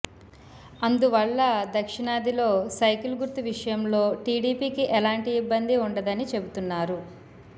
అందువల్ల దక్షిణాదిలో సైకిల్ గుర్తు విషయంలో టీడీపీకి ఎలాంటి ఇబ్బంది ఉండదని చెబుతున్నారు